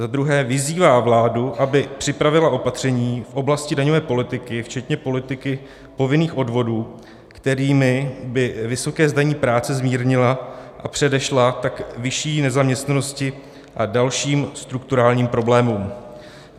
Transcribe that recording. Za druhé, vyzývá vládu, aby připravila opatření v oblasti daňové politiky včetně politiky povinných odvodů, kterými by vysoké zdanění práce zmírnila, a předešla tak vyšší nezaměstnanosti a dalším strukturálním problémům.